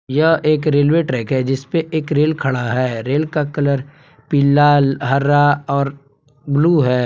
यह एक railway track है जिस पे एक रेल खड़ा है रेल का कलर पीला हरा और ब्लू है।